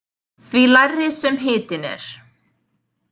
Því lægri sem hitinn er.